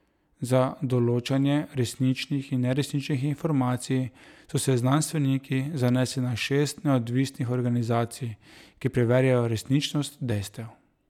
Za določanje resničnih in neresničnih informacij so se znanstveniki zanesli na šest neodvisnih organizacij, ki preverjajo resničnost dejstev.